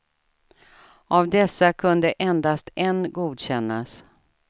Av dessa kunde endast en godkännas.